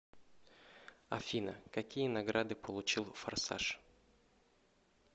афина какие награды получил форсаж